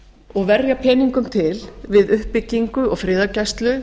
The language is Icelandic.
og verja peningum til við uppbyggingu og friðargæslu